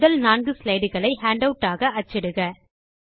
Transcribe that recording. முதல் 4 ஸ்லைடு களை ஹேண்டவுட் ஆக அச்சிடுக